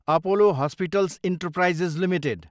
Apollo Hospitals Enterprise Ltd